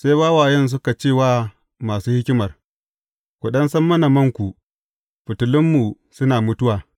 Sai wawayen suka ce wa masu hikimar, Ku ɗan sassam mana manku; fitilunmu suna mutuwa.’